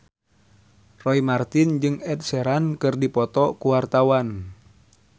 Roy Marten jeung Ed Sheeran keur dipoto ku wartawan